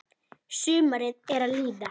Sumarið er að líða.